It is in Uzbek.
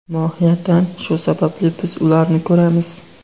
Mohiyatan shu sababli biz ularni ko‘ramiz.